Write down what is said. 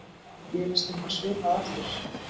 Gerist eitthvað svipað aftur?